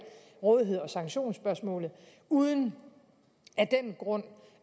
rådigheds og sanktionsspørgsmålet uden af den grund